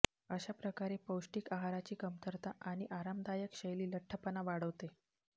अशा प्रकारे पौष्टिक आहाराची कमतरता आणि आरामदायक शैली लठ्ठपणा वाढवते